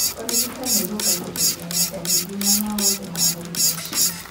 Ũrigitani ũrũngagĩriria na ndariri na maũthĩ ma mũrimũ ũcio.